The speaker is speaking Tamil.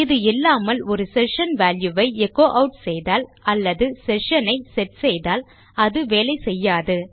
இது இல்லாமல் ஒரு செஷன் வால்யூ ஐ எச்சோ ஆட் செய்தால் அல்லது செஷன் ஐ செட் செய்தால் அது வேலை செய்யாது